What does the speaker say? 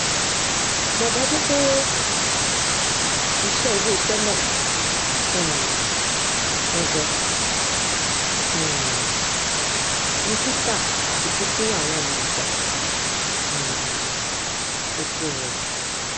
mọ dájú pé iṣẹ iléiṣẹ náà um gangan um ni títà àti pínpín àwọn èròjà um epo robi